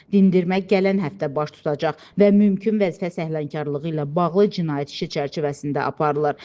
Dindirmə gələn həftə baş tutacaq və mümkün vəzifə səhlənkarlığı ilə bağlı cinayət işi çərçivəsində aparılır.